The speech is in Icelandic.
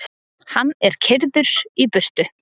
Hann er keyrður í burtu.